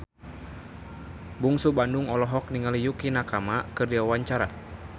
Bungsu Bandung olohok ningali Yukie Nakama keur diwawancara